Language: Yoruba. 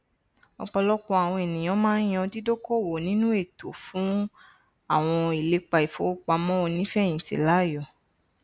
ọpọlọpọ àwọn ènìyàn máa n yan dídókowò nínú ètò fún àwọn ìlépa ìfowópamọ onífẹyìntì láàyò